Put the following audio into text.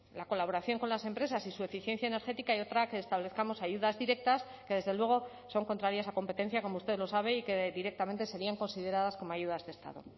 la colaboración con las empresas y su eficiencia energética y otra que establezcamos ayudas directas que desde luego son contrarias a competencia como usted lo sabe y que directamente serían consideradas como ayudas de estado